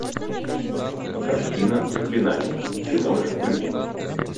картина заклинание ты можешь включить